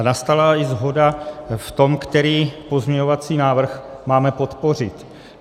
A nastala i shoda v tom, který pozměňovací návrh máme podpořit.